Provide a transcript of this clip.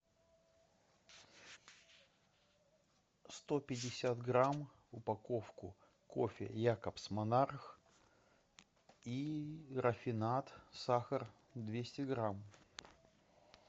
сто пятьдесят грамм упаковку кофе якобс монарх и рафинад сахар двести грамм